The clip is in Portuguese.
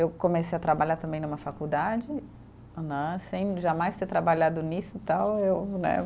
Eu comecei a trabalhar também numa faculdade né, sem jamais ter trabalhado nisso então eu, né.